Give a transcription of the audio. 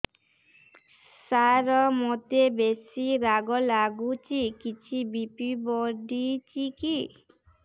ସାର ମୋତେ ବେସି ରାଗ ଲାଗୁଚି କିଛି ବି.ପି ବଢ଼ିଚି କି